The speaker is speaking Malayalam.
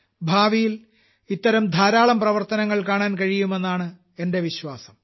ഭാവിയിൽ ഇത്തരം ധാരാളം പ്രവർത്തനങ്ങൾ കാണാൻ കഴിയുമെന്നാണ് എന്റെ വിശ്വാസം